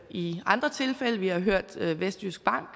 i andre tilfælde vi har hørt vestjysk bank